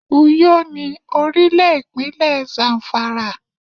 Uyó ni orílè ìpínlẹ̀ Zamfara